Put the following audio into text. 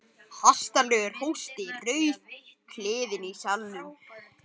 Hastarlegur hósti rauf kliðinn í salnum.